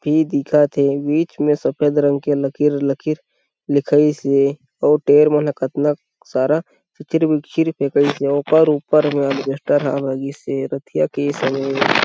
-- की दिखत हे बिच में सफ़ेद रंग के की लकीर लकीर लिखइस से औ देर मने कितना सारा और ओकर ऊपर रतिया के समय।